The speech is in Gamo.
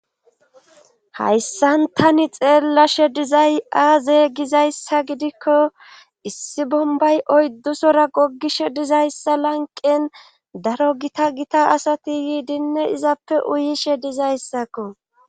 Hayssan tani xeellashe dizay aazey gizayssa gidikko issi bombay oyddusora gogishe dizayssa lanqen daro gita gita asati yiidinne izappe uyishe dizayssakko.